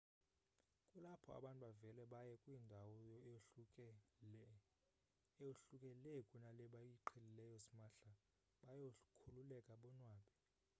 kulapho abantu bavele baye kwindawo eyohluke lee kuna le bayiqhelileyo smahla bayokhululeka bonwabe